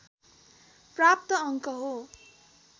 प्राप्त अङ्क हो